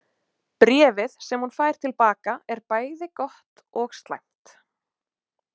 Bréfið sem hún fær til baka er bæði gott og slæmt.